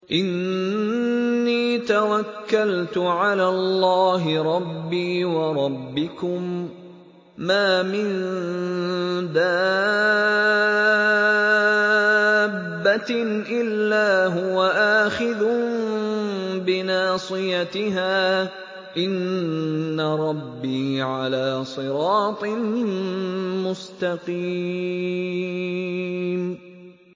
إِنِّي تَوَكَّلْتُ عَلَى اللَّهِ رَبِّي وَرَبِّكُم ۚ مَّا مِن دَابَّةٍ إِلَّا هُوَ آخِذٌ بِنَاصِيَتِهَا ۚ إِنَّ رَبِّي عَلَىٰ صِرَاطٍ مُّسْتَقِيمٍ